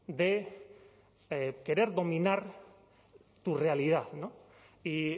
de querer dominar tu realidad y